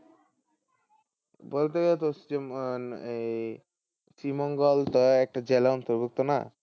এই শ্রীমঙ্গল তো একটা জেলার অন্তর্ভুক্ত না?